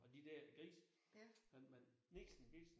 Og de der grise man man nixen bixen